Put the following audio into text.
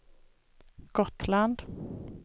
Gotland